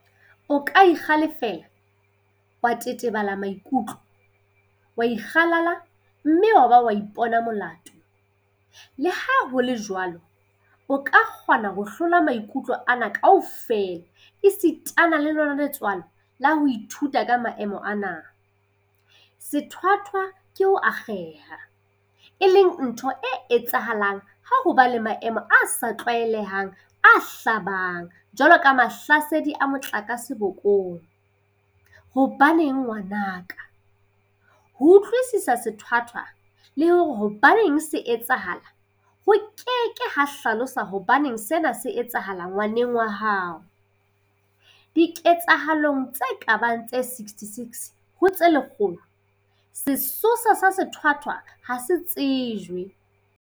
O ka ikgale-fela, wa tetebela maikutlo, wa ikgalala mme wa ba wa ipona molato, leha ho le jwalo, o ka kgona ho hlola maikutlo ana kaofela esitana le lona letswalo ka ho ithuta ka maemo ana. Sethwathwa ke ho akgeha, e leng ntho e etsahalang ha ho ba le maemo a sa tlwaelehang a hlabang jwalo ka mahlasedi a motlakase bokong. Hobaneng ngwana ka? Ho utlwisisa sethwathwa, le hore hobaneng se etsahala, ho ke ke ha hlalosa hobaneng sena se etsahala ngwaneng wa haoDiketsahalong tse ka bang tse 66 ho tse lekgolo, sesosa sa sethwathwa ha se tsejwe.